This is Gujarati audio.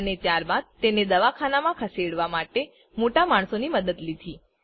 અને ત્યારબાદ તેને દવાખાનામાં ખસેડવાં માટે મોટા માણસોની મદદ લીધી